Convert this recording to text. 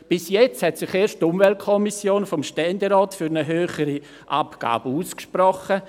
Bis jetzt hat sich erst die Umweltkommission des Ständerats für eine höhere Abgabe ausgesprochen.